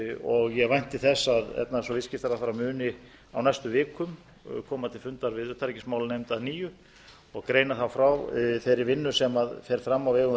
og ég vænti þess að efnahags og viðskiptaráðherra muni á næstu vikum koma til fundar við utanríkismálanefnd að nýju og greina þá frá þeirri vinnu sem fer fram á vegum